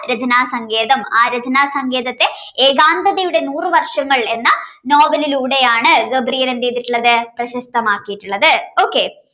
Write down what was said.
ആ രചന സങ്കേതo ആ രചനാ സങ്കേതത്തെ ഏകാന്തതയുടെ നൂറു വർഷങ്ങൾ എന്ന നോവലിലൂടെയാണ് gabriel എന്ത് ചെയ്തിട്ടുള്ളത് പ്രശസ്തമാക്കിയിട്ടുള്ളത് okay